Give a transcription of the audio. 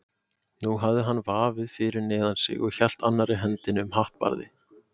Nú hafði hann vaðið fyrir neðan sig og hélt annarri hendinni um hattbarðið.